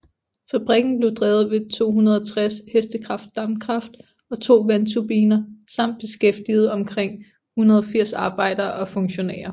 Fabrikken blev drevet ved 260 hk dampkraft og to vandturbiner samt beskæftigede omkring 180 arbejdere og funktionærer